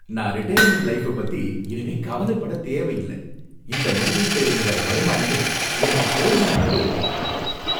நான் retirement life பத்தி இனிமே கவலைப்படத் தேவையில்லை, இந்த முதலீட்டுல இருந்து வர்ற வருமானமே எனக்குப் போதுமான அளவு இருக்கும்.